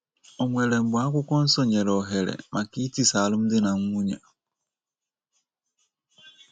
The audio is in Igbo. O nwere mgbe akwukwọnsọ nyere ohere maka itisa alụmdi na nwunye?